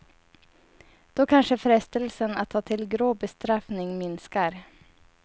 Då kanske frestelsen att ta till grå bestraffning minskar.